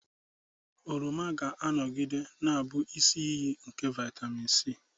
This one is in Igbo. Oroma ga-anọgide na-abụ isi iyi nke vitamin C.